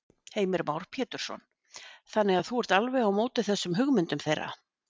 Heimir Már Pétursson: Þannig að þú ert alveg á móti þessum hugmyndum þeirra?